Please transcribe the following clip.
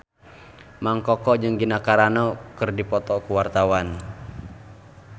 Mang Koko jeung Gina Carano keur dipoto ku wartawan